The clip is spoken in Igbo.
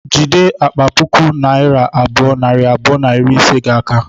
Jide akpa puku naira abụọ, nari abụọ na iri ise gi a aka